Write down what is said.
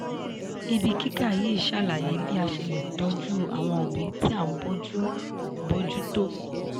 ibi kíkà yìí ṣàlàyé bí a ṣe lè tọ́jú àwọn òbí tí a ń bójú bójú tó.